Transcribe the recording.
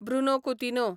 Bruno Coutinho